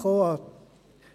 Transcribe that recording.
Ein Dank geht auch an